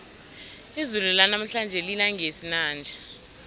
izulu lanamhlanje lina ngesinanja